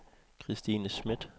Kristine Schmidt